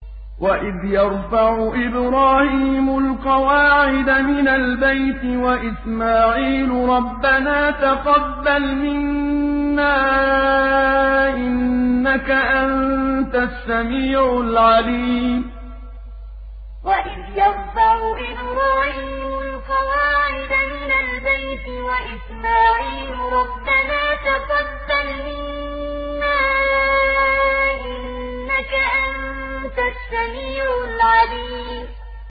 وَإِذْ يَرْفَعُ إِبْرَاهِيمُ الْقَوَاعِدَ مِنَ الْبَيْتِ وَإِسْمَاعِيلُ رَبَّنَا تَقَبَّلْ مِنَّا ۖ إِنَّكَ أَنتَ السَّمِيعُ الْعَلِيمُ وَإِذْ يَرْفَعُ إِبْرَاهِيمُ الْقَوَاعِدَ مِنَ الْبَيْتِ وَإِسْمَاعِيلُ رَبَّنَا تَقَبَّلْ مِنَّا ۖ إِنَّكَ أَنتَ السَّمِيعُ الْعَلِيمُ